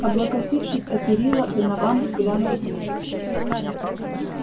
облокотившись о перила донован взглянул вниз